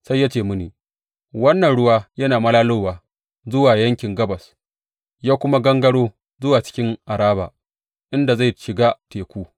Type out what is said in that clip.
Sai ya ce mini, Wannan ruwa yana malalowa zuwa yankin gabas ya kuma gangaro zuwa cikin Araba, inda zai shiga Teku.